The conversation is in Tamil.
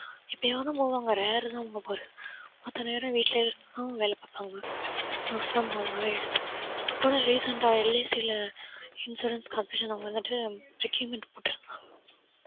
எப்பயாவதான் போவாங்க rare தான் அவங்க போறது மத்த நேரம் வீட்ல இருந்து தான் அவங்க வேலை பார்ப்பாங்க work form home ஆவே எடுத்து இப்ப கூட recent அ LIC ல insurance competition அங்க வந்துட்டு requirement போட்டாங்க